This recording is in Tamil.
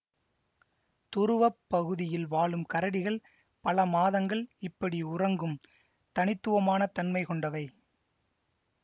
துருவ பகுதியில் வாழும் கரடிகள் பல மாதங்கள் இப்படி உறங்கும் தனித்துவமான தன்மை கொண்டவை